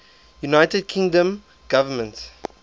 united kingdom government